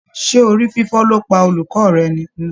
Ṣé orí fífọ́ ló pa olùkọ́ rẹ ni?